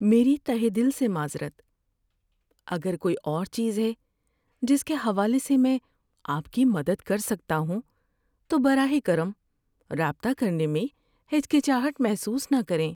میری تہہ دل سے معذرت! اگر کوئی اور چیز ہے جس کے حوالے سے میں آپ کی مدد کر سکتا ہوں تو براہ کرم رابطہ کرنے میں ہچکچاہٹ محسوس نہ کریں۔